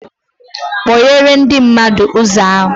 Kpoghere ndị mmadụ ụzọ ahụ